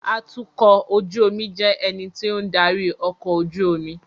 Atukọ̀ ojú omi jẹ́ ẹni tí ó ń darí ọkọ̀ ojú omi